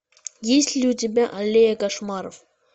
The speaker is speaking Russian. есть ли у тебя аллея кошмаров